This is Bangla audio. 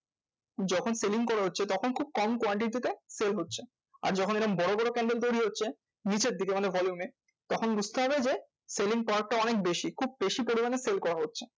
যখন selling করা হচ্ছে তখন খুব কম quantity তে sell হচ্ছে। আর যখন এরম বড় বড় candle তৈরী হচ্ছে নিচের দিকে মানে volume এ তখন বুঝতে হবে যে, selling power টা অনেক বেশি। খুব বেশি পরিমানে sell করা হচ্ছে